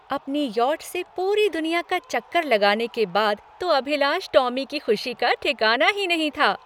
अपनी यॉट से पूरी दुनिया का चक्कर लगाने के बाद तो अभिलाष टॉमी की खुशी का ठिकाना ही नहीं था।